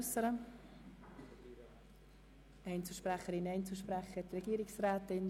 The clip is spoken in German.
Wünschen Einzelsprecherinnen oder Einzelsprecher das Wort oder die Regierungsrätin?